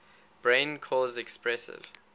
brain cause expressive